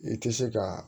I tɛ se ka